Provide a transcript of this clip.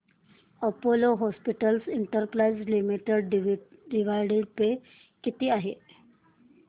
Apollo hospitals enterprise limited dividend pay किती आहे